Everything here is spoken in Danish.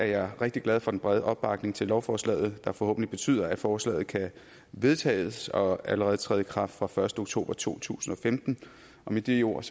jeg rigtig glad for den brede opbakning til lovforslaget der forhåbentlig betyder at forslaget kan vedtages og allerede træde i kraft fra den første oktober to tusind og femten og med de ord